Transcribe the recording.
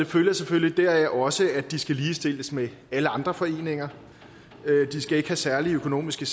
følger selvfølgelig også at de skal ligestilles med alle andre foreninger de skal ikke have særlige økonomiske